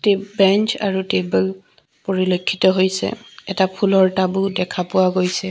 Bench আৰু টেবুল পৰিলক্ষিত হৈছে এটা ফুলৰ টাবো দেখা পোৱা গৈছে।